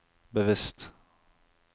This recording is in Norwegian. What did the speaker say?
bevisst